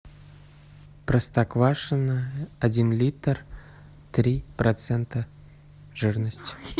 простоквашино один литр три процента жирности